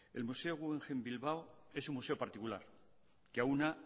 el museo guggenheim bilbao es un museo particular que aúna